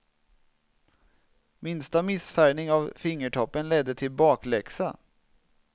Minsta missfärgning av fingertoppen ledde till bakläxa.